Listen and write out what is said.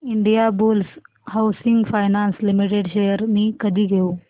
Indiabulls housing finance limited shares मी कधी घेऊ